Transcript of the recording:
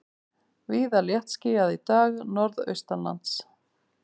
Víða léttskýjað í dag norðaustanlands